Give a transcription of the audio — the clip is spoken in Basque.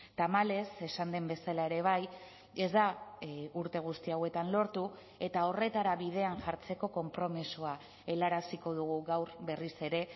tamalez esan den bezala ere bai ez da urte guzti hauetan lortu eta horretara bidean jartzeko konpromisoa helaraziko dugu gaur berriz ere